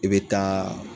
I bɛ taa